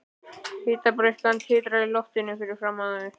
Hitabreyskjan titrar í loftinu fyrir framan þau.